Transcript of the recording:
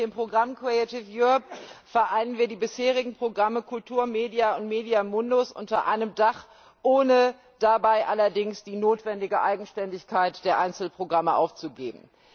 Mit dem Programm vereinen wir die bisherigen Programme KULTUR, MEDIA und MEDIA MUNDUS unter einem Dach, ohne dabei allerdings die notwendige Eigenständigkeit der Einzelprogramme aufzugeben.